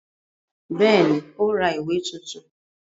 Bẹ́ẹ̀ ni, ó ra ìwé tuntun.